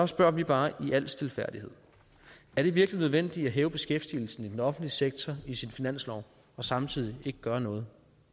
spørger vi bare i al stilfærdighed er det virkelig nødvendigt at hæve beskæftigelsen i den offentlige sektor i sin finanslov og samtidig ikke gøre noget